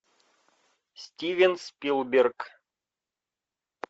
стивен спилберг